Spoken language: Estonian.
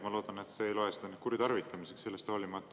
Ma loodan, et te ei loe seda nüüd kuritarvitamiseks sellest hoolimata.